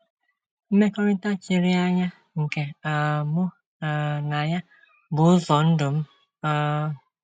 Mmekọrịta chiri anya nke um mụ um na ya bụ ụzọ ndụ m. um